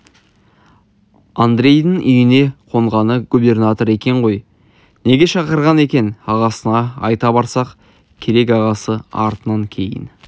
андрейдің үйіне қонғаны губернатор екен ғой неге шақырған екен ағасына айта барса керек ағасы артынан кейін